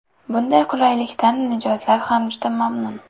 Bunday qulaylikdan mijozlar ham juda mamnun.